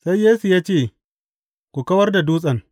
Sai Yesu ya ce, Ku kawar da dutsen.